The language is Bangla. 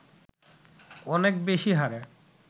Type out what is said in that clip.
অনেক বেশি হারে